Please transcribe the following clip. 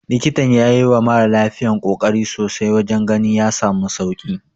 Likitan ya yiwa mara lafiyar kokari sosai wajen ganin ya samu sauki.